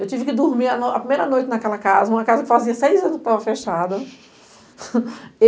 Eu tive que dormir a primeira noite naquela casa, uma casa que fazia seis anos que estava fechada.